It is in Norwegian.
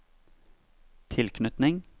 tilknytning